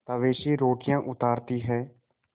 तवे से रोटियाँ उतारती हैं